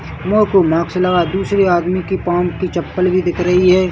मुह तू मास्क लगा है दूसरी आदमी के पाँव की चप्पल भी दिख रही है ।